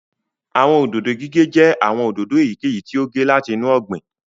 Àwọn òdòdó gígé jẹ́ àwọn òdòdó èyíkèyí tí ó gé láti inú ọgbìn